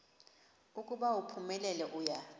ukuba uphumelele uya